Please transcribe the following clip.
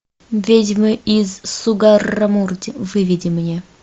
ведьмы из сугаррамурди выведи мне